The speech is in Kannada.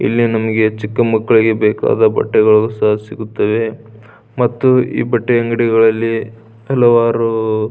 ಇಲ್ಲಿ ನಮಗೆ ಚಿಕ್ಕ ಮಕ್ಕಳಿಗೆ ಬೇಕಾದ ಬಟ್ಟೆಗಳು ಸಹ ಸಿಗುತ್ತವೆ ಮತ್ತು ಈ ಬಟ್ಟೆ ಅಂಗಡಿಗಳಲ್ಲಿ ಹಲವಾರು--